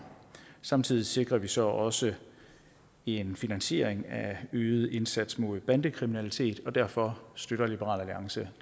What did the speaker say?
samtidig sikrer vi så også en finansiering af øget indsats mod bandekriminalitet og derfor støtter liberal alliance